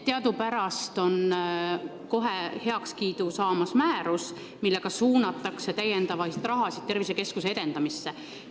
Teadupärast on heakskiitu saamas määrus, millega suunatakse sinna täiendavalt raha, et edendada tervisekeskust.